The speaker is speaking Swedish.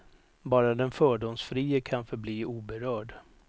Bara den fördomsfrie kan förbli oberörd.